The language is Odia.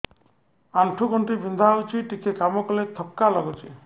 ଆଣ୍ଠୁ ଗଣ୍ଠି ବିନ୍ଧା ହେଉଛି ଟିକେ କାମ କଲେ ଥକ୍କା ଲାଗୁଚି